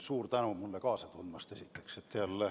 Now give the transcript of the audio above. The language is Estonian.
Suur tänu mulle kaasa tundmast!